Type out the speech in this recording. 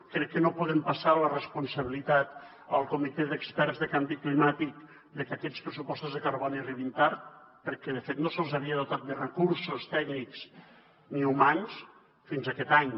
crec que no podem passar la responsabilitat al comitè d’experts sobre canvi climàtic de que aquests pressupostos de carboni arribin tard perquè de fet no se’ls havia dotat de recursos tècnics ni humans fins aquest any